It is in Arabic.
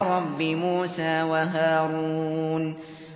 رَبِّ مُوسَىٰ وَهَارُونَ